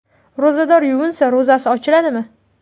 Ro‘zador yuvinsa, ro‘zasi ochiladimi?.